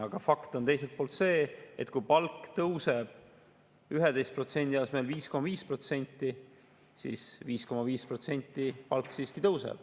Aga fakt on teiselt poolt see, et kui palk tõuseb 11% asemel 5,5%, siis 5,5% palk siiski tõuseb.